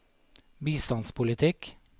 bistandspolitikk